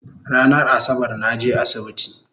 Ranan Asabar naje asibiti